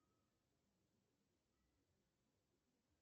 сбер курс валюты за прошлый год